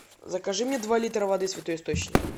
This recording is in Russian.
закажи мне два литра воды святой источник